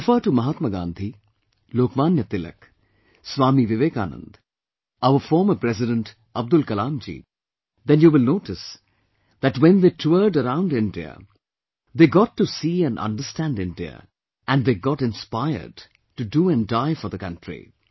If you refer to Mahatma Gandhi, Lokmanya Tilak, Swami Vivekanand, our former President Abdul Kalamji then you will notice that when they toured around India, they got to see and understand India and they got inspired to do and die for the country